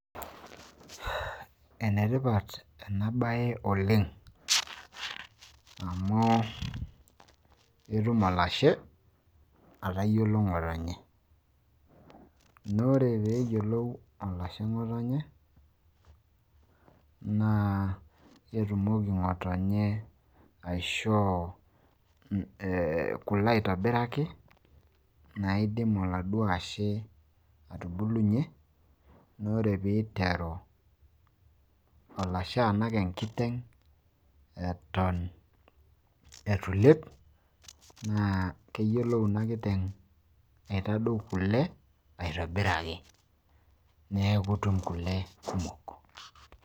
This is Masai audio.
ene tipat ena bae oleng amu etum olashe atayiolo ng'otonye, naa ore pee eyiolou olashe ngotonye naa ketumoki ngotonye aishoo kule aitobiraki, naidim oladuo ashe atubulunye. naa ore pee iteru alashe atanaa enkiteng eton eitu ilep. naa keyiolou ina kiteng aitadou kule aitobiraki. neeku itum kule kumok.